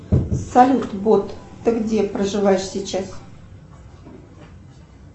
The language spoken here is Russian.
салют бот ты где проживаешь сейчас